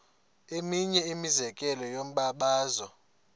eminye imizekelo yombabazo